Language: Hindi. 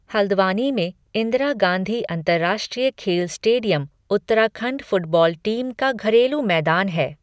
हल्द्वानी में इंदिरा गांधी अंतर्राष्ट्रीय खेल स्टेडियम उत्तराखंड फुटबॉल टीम का घरेलू मैदान है।